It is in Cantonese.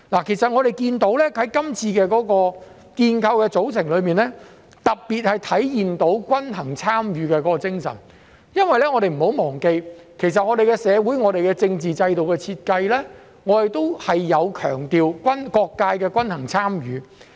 其實我們看到在這次建構的組成中，特別體現出均衡參與的精神，因為我們不要忘記，其實我們的社會和政治制度的設計，是強調各界的均衡參與。